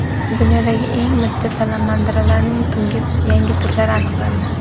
Dunyodagi eng mitti salamandralarning yangi turlari aniqlandi.